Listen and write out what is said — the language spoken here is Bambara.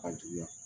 A juguya